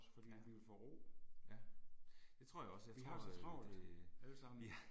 Ja, ja. Det tror jeg også, jeg tror at øh. Ja